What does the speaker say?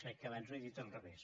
crec que abans ho he dit al revés